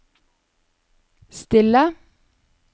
stille